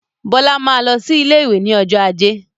Bọlá máa lọ sí ilé ìwé ni ọjọ́ ajé